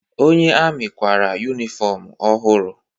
Onye amị kwara yunifọmụ ọhụrụ.